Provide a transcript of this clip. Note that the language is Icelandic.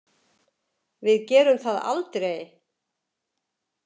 Við gerum það aldrei